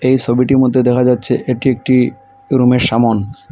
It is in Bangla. এই ছবিটির মধ্যে দেখা যাচ্ছে এটি একটি রুমের সামন।